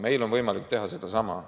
Meil on võimalik teha sedasama.